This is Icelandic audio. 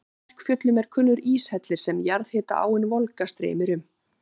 Í Kverkfjöllum er kunnur íshellir sem jarðhita-áin Volga streymir um.